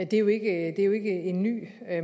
det er jo ikke en ny